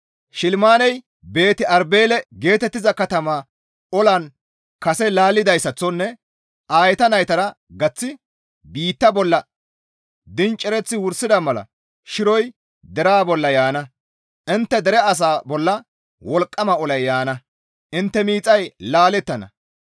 Shilimaaney Beeti-Arbeele geetettiza katama olan kase laallidayssaththonne Aayeta naytara gaththi biitta bolla dincereththi wursida mala shiroy deraa bolla yaana. Intte dere asaa bolla wolqqama olay yaana; Intte miixay laalettana.